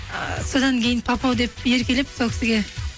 ы содан кейін папау деп еркелеп сол кісіге